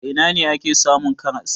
A ina ne ake samun karas?